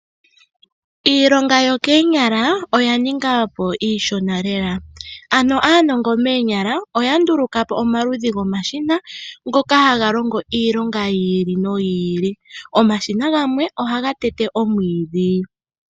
Iilonga yokoonyala oya ninga po iishona lela. Ano aanongo moonyala oya nduluka po omaludhi gomashina ngoka haga longo iilonga yi ili noyi ili. Omashina gamwe ohaga tete omwiidhi.